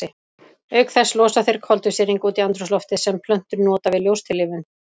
Auk þess losa þeir koltvísýring út í andrúmsloftið sem plöntur nota við ljóstillífun.